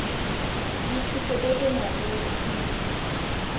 le thuto e e maleba